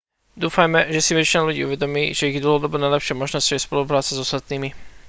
dúfajme že si väčšina ľudí uvedomí že ich dlhodobo najlepšou možnosťou je spolupracovať s ostatnými